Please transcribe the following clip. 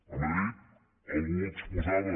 a madrid algú ho exposava